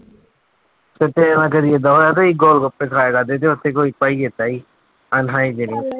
ਤੇ ਤੇਰੇ ਨਾਲ ਕਦੇ ਏਦਾਂ ਹੋਇਆ ਤੁਸੀਂ ਗੋਲਗੱਪੇ ਖਾਇਆ ਕਰਦੇ ਤੇ ਉੱਥੇ ਕੋਈ ਭਾਈ ਏਦਾਂ ਸੀ unhygienic